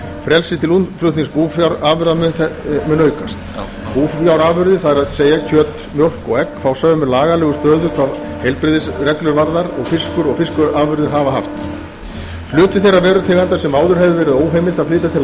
frelsi til útflutnings búfjárafurða mun aukast búfjárafurðir það er kjöt mjólk og egg fá sömu lagalega stöðu hvað heilbrigðisreglur varðar og fiskur og fiskafurðir hafa haft aðra hluti þeirra vörutegunda sem áður hefur verið óheimilt að flytja til